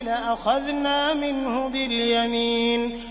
لَأَخَذْنَا مِنْهُ بِالْيَمِينِ